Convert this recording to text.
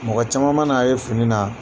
Mɔgɔ caman man'a ye fini na